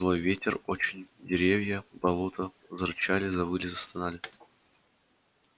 злой ветер очень деревья болото зарычали завыли застонали